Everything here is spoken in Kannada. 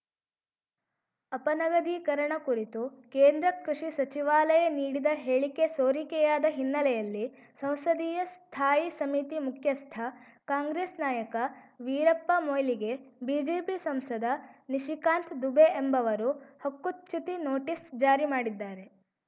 ಅಪನಗದೀಕರಣ ಕುರಿತು ಕೇಂದ್ರ ಕೃಷಿ ಸಚಿವಾಲಯ ನೀಡಿದ ಹೇಳಿಕೆ ಸೋರಿಕೆಯಾದ ಹಿನ್ನೆಲೆಯಲ್ಲಿ ಸಂಸದೀಯ ಸ್ಥಾಯಿ ಸಮಿತಿ ಮುಖ್ಯಸ್ಥ ಕಾಂಗ್ರೆಸ್‌ ನಾಯಕ ವೀರಪ್ಪ ಮೊಯ್ಲಿಗೆ ಬಿಜೆಪಿ ಸಂಸದ ನಿಶಿಕಾಂತ್‌ ದುಬೆ ಎಂಬವರು ಹಕ್ಕುಚ್ಯುತಿ ನೋಟಿಸ್‌ ಜಾರಿ ಮಾಡಿದ್ದಾರೆ